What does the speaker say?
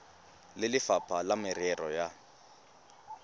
le lefapha la merero ya